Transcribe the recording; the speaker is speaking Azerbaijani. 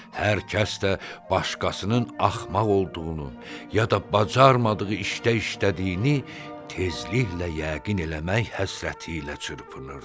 Hər kəs də başqasının axmaq olduğunu, ya da bacarmadığı işdə işlədiyini tezliklə yəqin eləmək həsrəti ilə çırpınırdı.